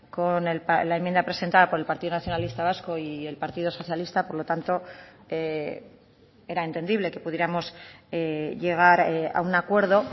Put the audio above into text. con la enmienda presentada por el partido nacionalista vasco y el partido socialista por lo tanto era entendible que pudiéramos llegar a un acuerdo